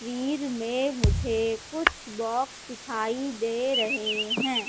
तस्वीर में मुझे कुछ बॉक्स दिखाई दे रहे हैं।